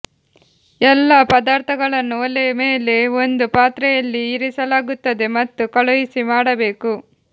ಎಲ್ಲಾ ಪದಾರ್ಥಗಳನ್ನು ಒಲೆ ಮೇಲೆ ಒಂದು ಪಾತ್ರೆಯಲ್ಲಿ ಇರಿಸಲಾಗುತ್ತದೆ ಮತ್ತು ಕಳುಹಿಸಿ ಮಾಡಬೇಕು